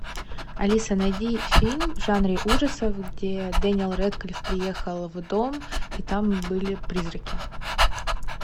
алиса найди фильм в жанре ужасов где дэниел рэдклифф приехал в дом и там были призраки